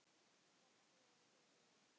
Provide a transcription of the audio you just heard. BOGGA: Þú hefur fengið nóg.